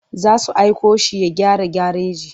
Za su aiko shi ya gyara gareji.